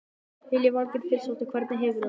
Lillý Valgerður Pétursdóttir: Hvernig hefurðu það?